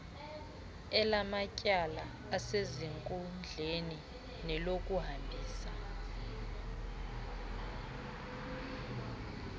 elamatyala asezinkundleni nelokuhambisa